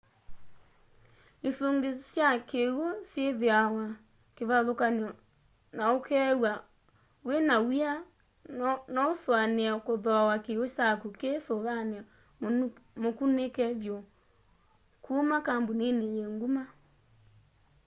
isungi sya kiw'u syithiawa kivathukany'o na ukeew'a wina w'ia nousuanie kuthooa kiw'u kyaku ki suvani mukunike vyu kuma kambunini yi nguma